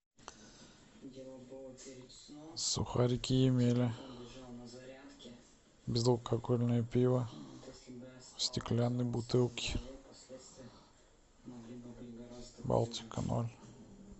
сухарики емеля безалкогольное пиво в стеклянной бутылке балтика ноль